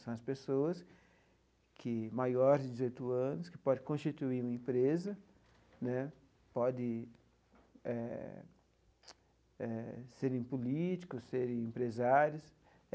São as pessoas que maiores de dezoito anos, que podem constituir uma empresa né, podem serem políticos, serem empresários.